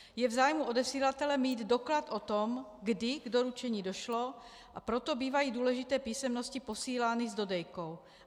Je v zájmu odesílatele mít doklad o tom, kdy k doručení došlo, a proto bývají důležité písemnosti posílány s dodejkou.